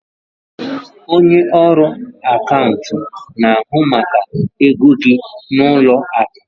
Onye ọrụ akaụntụ na-ahụ maka ego gị n'ụlọ akụ.